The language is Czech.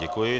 Děkuji.